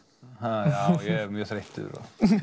já ég er mjög þreyttur